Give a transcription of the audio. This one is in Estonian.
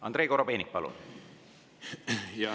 Andrei Korobeinik, palun!